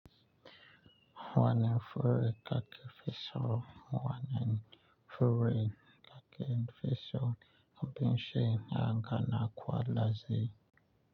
Wani fure kake fi son wani fure kaken fi son abin shin yanka na kwallaze.